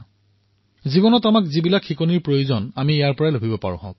আমাৰ জীৱনত যিহৰেই প্ৰয়োজন সেয়া তাৰ পৰা পাব পাৰো